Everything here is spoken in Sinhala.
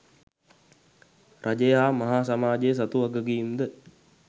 රජය හා මහා සමාජය සතු වගකීම් ද